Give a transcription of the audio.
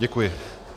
Děkuji.